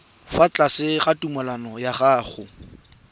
fa tlase ga tumalano ya